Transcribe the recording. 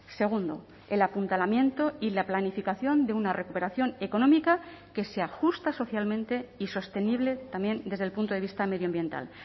segundo el apuntalamiento y la planificación de una recuperación económica que se ajusta socialmente y sostenible también desde el punto de vista medioambiental